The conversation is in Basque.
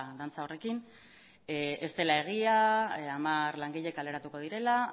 horrekin ez dela egia hamar langile kaleratuko direla